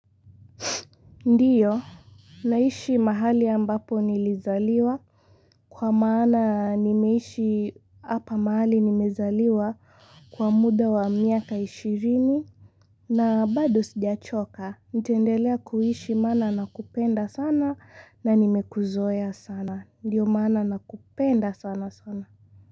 Ndiyo naishi mahali ambapo nilizaliwa, kwa maana nimeishi hapa mahali nimezaliwa kwa muda wa miaka ishirini na bado sijachoka nitaendelea kuishi maana nakupenda sana na nimekuzoea sana Ndiyo maana nakupenda sana sana.